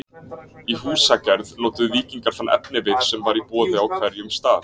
Í húsagerð notuðu víkingar þann efnivið sem var í boði á hverjum stað.